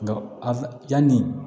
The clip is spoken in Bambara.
Nka a yani